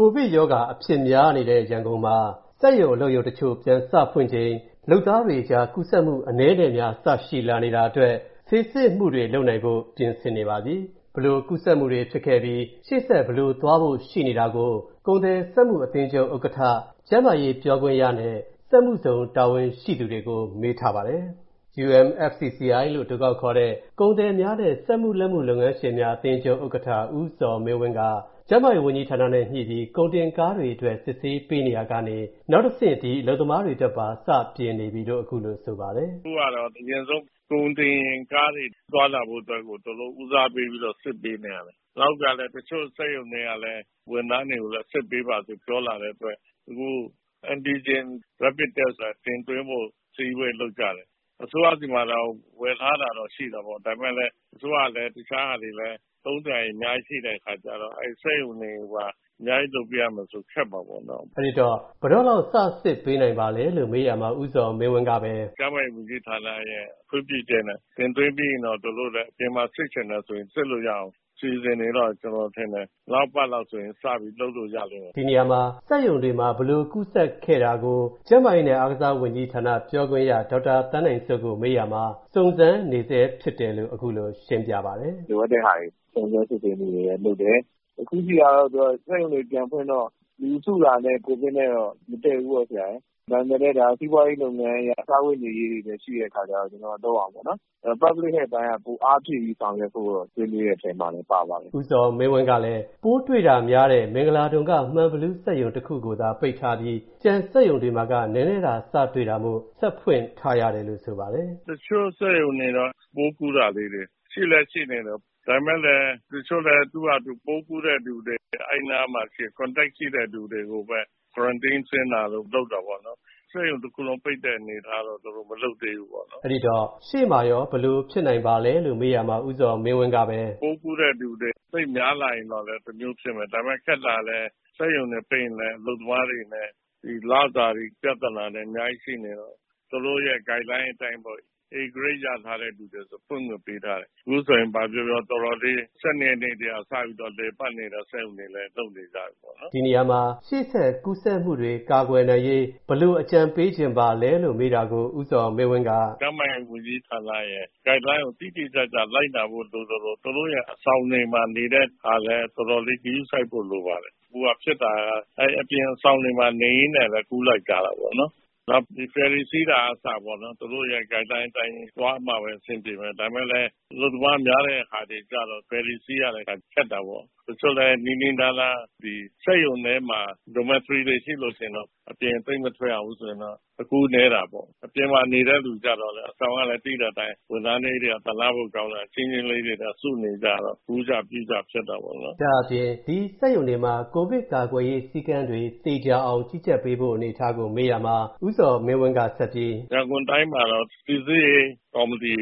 ကိုဗစ်ရောဂါအဖြစ်များနေတဲ့ ရန်ကုန်မှာ စက်ရုံအလုပ်ရုံတချို့ ပြန်စဖွင့်ချိန်၊ လုပ်သားတွေအကြား ကူးစက်မူအနည်းနဲ့အများ စရှိလာနေတာအတွက်၊ ဆေးစစ်မူတွေလုပ်နိုင်ဖို့ ပြင်ဆင်နေပါပြီ။ ဘယ်လိုကူးစက်မူတွေဖြစ်ခဲ့ပြီး၊ ရှေ.ဆက်ဘယ်လိုသွားဖို့ရှိနေတာကို၊ ကုန်သည်စက်မူအသင်းချုပ် ဥက္ကဌ၊ ကျန်းမာရေးပြောခွင့်ရနဲ့၊ စက်မူဇုံတာဝန်ရှိသူတို့ကို ကိုဝင်းမင်းက မေးထားပါတယ်။ UMFCCI လို့အတိုခေါက်ခေါ်တဲ့ ကုန်သည်များနှင့် စက်မူလက်မူလုပ်ငန်းရှင်းများအသင်းချုပ် ဥက္ကဌ ဦးဇော်မင်းဝင်းက ကျန်းမာရေးဝန်ကြီးဌာနနဲ့ညှိုနှိုင်းပြီး ကုန်တင်ကားတွေအတွက် ဆေးစစ်ပေးရာကနေ၊ နောက်တစ်ဆင့် ဒီအလုပ်သမားတွေအတွက်ပါ စပြင်နေပြီလို့ ခုလိုဆိုပါတယ်။ “အခုကတော့အရင်ဆုံး ကုန်တင်ကားတွေသွားဖို့အတွက်ကို ဦးစားပေးပြီးတော့ သူတို့ စစ်ပေးနေရတယ်။ နောက်တစ်ခါလည်း တချို.စက်ရုံတွေကလည်း၊ ဝန်ထမ်းတွေကိုလည်း စစ်ပေးပါလို့ ပြောလာတဲ့အတွက်၊ အခု Antigen Rapid Test တင်းသွင်းဖို့ အစည်းအဝေးလုပ်ကြတယ်။ အစိုးရဆီမှာတောင် ဝယ်ထားတာတော့ ရှိတာပေါ့နော်။ ဒါပေမဲ့ အစိုးရကလည်းပဲ၊ တခြားဟာတွေလည်း အများကြီးသုံးစရာရှိတဲ့အတွက်ကြောင့်၊ အဲ့ဒီစက်ရုံတွေကိုပါ အများကြီး လုပ်ပေးရမယ်ဆို ခက်မှာပေါ့နော်။” အဲ့ဒီတော့ အလုပ်သမားတွေကို ဘယ်တော့လောက် စစစ်ပေးနိုင်ပါလဲလို့ မေးရာမှာ ဦးဇော်မင်းဝင်းကပဲ “ကျန်းမာရေးဝန်ကြီးဌာနရဲ့ ခွင့်ပြုချက်နဲ့ တင်သွင်းပြီးရင်တော့၊ သူတို့လည်း အပြင်မှာ စစ်ချင်တယ်ဆိုရင် စစ်လို့ရအောင် အစီအစဉ်တွေတော့၊ ကျွန်တော်ထင်တယ်၊ နောက်အပတ်လောက်ဆို စပြီးလုပ်လို့ရလိမ့်မယ်ထင်တယ်။” ဒီနေရာမှာ စက်ရုံတွေမှာ ဘယ်လို ကူးစက်ခဲ့တာကို ကျန်းမာရေးနဲ့အားကစားဝန်ကြီးဌာနပြောခွင့်ရ ဒေါက်တာသန်းနိုင်စိုးကို မေးရာမှာ၊ စုံစမ်းနေဆဲဖြစ်တယ်လို့ ခုလိုရှင်းပြပါတယ်။ “လိုအပ်တဲ့ဟာတွေ၊ စုံစမ်းစစ်ဆေးမူတွေလည်းလုပ်တယ်။ တစ်ခုရှိတာကတော့ စက်ရုံတွေပြန်ဖွင့်တော့၊ လူစုတာနဲ့ ကိုဗစ်နဲ့တော့ မတဲ့ဘူးပေါ့။ ဒါပေမဲ့လည်း စီးပွားရေးလုပ်ငန်းအရ စားဝတ်နေရေးတွေလည်း ရှိတဲ့အခါကျတော့၊ ကျွန်တော်တို့က လုပ်ရမှာပေါ့နော်။ အဲ့ဒီတော့ Public Health အပိုင်းကတော့ ပိုအားဖြည့်ပြီး ဆောင်ရွက်ဖို့ ဆွေးနွေးတဲ့အထဲမှာလည်း ပါပါတယ်။။” ဦးဇော်မင်းဝင်းကလည်း ပိုးတွေတာများတဲ့ မင်္ဂလာဒုံက မှန်ဘီလူးစက်ရုံတစ်ခုကိုသာ ပိတ်ထားပြီး၊ ကျန်စက်ရုံတွေမှာ နဲနဲသာပိုးစတွေ့ကာ ဆက်ဖွင့်ထားရတယ်လို့ ဆိုပါတယ်။ “တချို.စက်ရုံတွေတော့ ပိုးကူးတာလေးတွေ ရှိလည်း ရှိနေတယ်။ ဒါပေမဲ့လည်း တချို.လည်း သူ့ဟာသူ ပိုးကူးတဲ့သူတွေ၊ အဲ့ဒီနားမှာရှိတဲ့ Contact ရှိတဲ့သူတွေကိုပဲ၊ Quarantine ဆင်းတာတို့ လုပ်တာပေါ့နော်။ စက်ရုံတစ်ခုလုံး ပိတ်တဲ့အနေအထားတော့ သူတို့ မလုပ်သေးဘူးပေါ့။” အဲ့ဒီတော့ ရှေ.မှာရော ဘယ်လိုဖြစ်လာနိုင်ပါလဲလို့ မေးရာမှာ ဦးဇော်မင်းဝင်းကပဲ “ပိုးကူးတဲ့သူတွေ သိပ်များလာရင်တော့လည်း တမျိုးဖြစ်မယ်။ ဒါပေမဲ့ ခက်တာကလည်း စက်ရုံတွေပိတ်ရင်လည်း၊ အလုပ်သမားတွေအနေနဲ့ ဒီလစာတွေပြဿနာနဲ့ အများကြီးရှိနေတော့၊ သူတို့ရဲ့ Guideline အတိုင်းပေါ့လေ၊ A-Grade ၊ ရထားတဲ့သူတွေဆို ဖွင့်ခွင့်ပေးထားတယ်။ အခုဆိုရင် ဘာပြောပြော၊ တော်တော်လေး၊ ဒီလ ၁၂ ရက်ထဲက စပြီးတော့ လည်ပတ်နေတဲ့ စက်ရုံတွေလည်း လုပ်နေကြပြီပေါ့နော်။” ဒီနေရာမှာ ရှေ.ဆက်ကူးစက်မူတွေကနေ ကာကွယ်ရေး ဘယ်လို အကြံပေးချင်ပါလဲလို့ မေးတာကို ဦးဇော်မင်းဝင်းက “ကျန်းမာရေးဝန်ကြီးဌာနရဲ့ Guideline ကို တိတိကျကျ လိုက်နာဖို့ လိုသလို၊ သူတို့ရဲ့ အဆောင်တွေမှာလည်း တော်တော်လေး ဂရုစိုက်ဖို့လိုပါတယ်။ အခုဟာဖြစ်တာက အဲ့ဒီ အပြင်အဆောင်တွေမှာ နေရင်းနဲ့ပဲ ကူးလိုက်ကြတာပေါ့။ နောက်ဖယ်ရီကားစီးတာကအစပေါ့၊ သူတို့ရဲ့ Guideline အတိုင်းသွားမှပဲ အဆင်ပြေမယ်။ ဒါပေမဲ့လည်း အလုပ်သမားများတဲ့ဟာတွေကျတော့ ဖယ်ရီစီးရတဲ့ အခါ ခက်တာပေါ့။ တချို့လည်း နီးနီးနားနား၊ ဒီ စက်ရုံထဲမှာပဲ Dormitory တွေရှိလို့ရှိရင်တော့၊ အပြင်သိပ်မထွက်ရဘူးဆိုရင်တော့ အကူးနည်း တာပေါ့။ အပြင်မှာနေတဲ့သူကျတော့လည်း၊ အဆောင်ကလည်း၊ သိတဲ့အတိုင်း၊ ဝန်ထမ်းလေးတွေက သနားဖို့ကောင်းတာ၊ ကျဉ်းကျဉ်းလေးတွေနဲ့ စုနေကြရတော့၊ ကူးကြ၊ ပြုကြ ဖြစ်တာပေါ့နော်။” ဒါ့အပြင် ဒီစက်ရုံတွေမှာ ကိုဗစ်ကာကွယ်ရေးစည်းကမ်းတွေ သေချာအောင် ကြီးကြပ်ပေးဖို့ အနေအထားကို မေးရာမှာ၊ ဦးဇော်မင်းဝင်းကဆက်ပြီး - “ရန်ကုန်တိုင်းမှာတော့ စီစစ်ရေးကော်မတီ